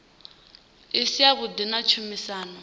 i si yavhuḓi na tshumisano